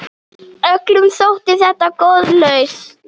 Öllum þótti þetta góð lausn.